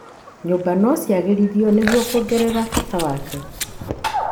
Nyũmba no ciagĩrithio nĩguo kuongerera bata wake.